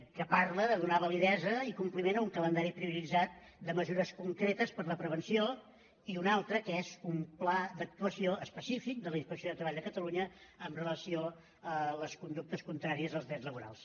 que parla de donar validesa i compliment a un calendari prioritzat de mesures concretes per a la prevenció i un altre que és un pla d’actuació específic de la inspecció de treball de catalunya amb relació a les conductes contràries als drets laborals